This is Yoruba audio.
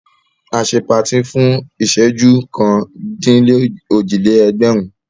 A ṣe patí fún ìṣẹ́jú kan-dín-òjì-lé-ẹgbẹ̀rún.